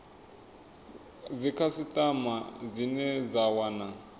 kha dzikhasitama dzine dza wana